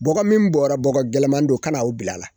Bɔgɔ min bɔra bɔgɔ gɛlɛnman don ka na o bila a la